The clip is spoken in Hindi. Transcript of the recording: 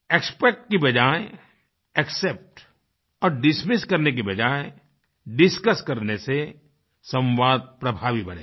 एक्सपेक्ट की बजाय एक्सेप्ट और डिसमिस करने की बजाय डिस्कस करने से संवाद प्रभावी बनेगा